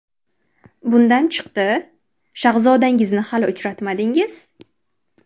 Bundan chiqdi, shahzodangizni hali uchratmadingiz?